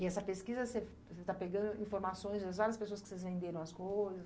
E essa pesquisa, você você está pegando informações das várias pessoas que vocês venderam as coisas?